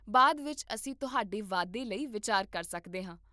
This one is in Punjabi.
ਬਾਅਦ ਵਿੱਚ ਅਸੀਂ ਤੁਹਾਡੇ ਵਾਧੇ ਲਈ ਵਿਚਾਰ ਕਰ ਸਕਦੇ ਹਾਂ